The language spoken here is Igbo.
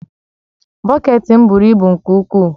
Bọket m buru ibu nke ukwuu